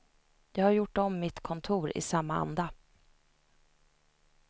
Jag har gjort om mitt kontor i samma anda.